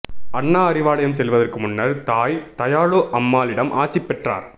அண்ணா அறிவாலயம் செல்வதற்கு முன்னர் தாய் தயாளு அம்மாளிடம் ஆசி பெற்றார்